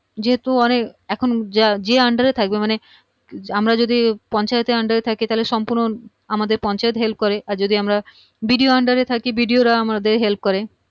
যেহুতু মানে এখন যে যার under এ থাকবে মানে আমরা যদি পঞ্চায়েত এর under এ থাকি তাহলে সম্পূর্ণ আমাদের পঞ্চায়েত help করে আর যদি আমরা BDOunder এ থাকি BDO রা আমাদের help করে